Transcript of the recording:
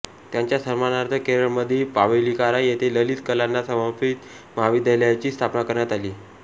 त्यांच्या सन्मानार्थ केरळमधील मावेलीकारा येथे ललित कलांना समर्पित महाविद्यालयाची स्थापना करण्यात आली